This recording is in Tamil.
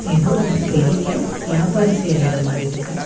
எதோ ஒரு பெரிய வியாபாரம் செய்ற இடம் மாரி இருக்கு.